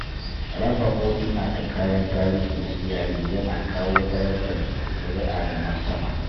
Raba hotuna da kayan tarihi na iyali ya na kawo darajar zuri'a da martaba.